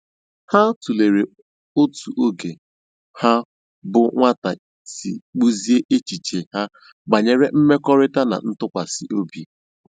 Ha tụ̀lèrè otú ógè ha bụ́ nwátà sì kpụ́ziè èchìchè ha bànyèrè mmèkọ̀rị̀ta na ntụ́kwàsị́ òbì.